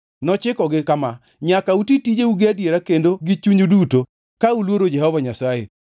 Nochikogi kama, Nyaka uti tijeu gi adiera kendo gi chunyu duto ka uluoro Jehova Nyasaye.